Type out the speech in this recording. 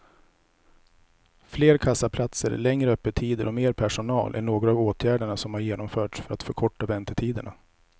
Fler kassaplatser, längre öppettider och mer personal är några av åtgärderna som har genomförts för att förkorta väntetiderna.